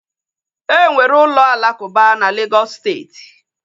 Enwere ụlọ alakuba na Legọs steeti